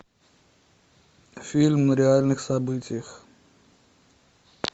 фильм на реальных событиях